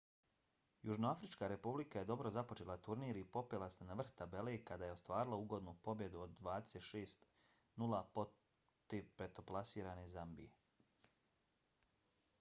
južnoafrička republika je dobro započela turnir i popela se na vrh tabele kada je ostvarila ugodnu pobjedu od 26:00 protiv petoplasirane zambije